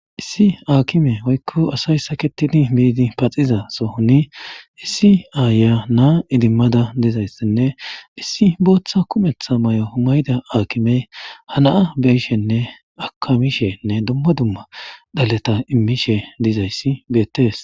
Issi aakime woykko asay saketidi biidi paxiza sohoni issi aaya naa idimmada dizayssinne issi booththa kumetha may'o humayda aakimey hanaa beyishenne akamishenne dumma dumma dhaleta immishe dizayssi beettes